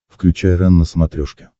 включай рен на смотрешке